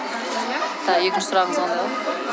тағы екінші сұрағыңыз қандай болды